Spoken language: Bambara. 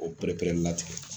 O pere-pere latigɛ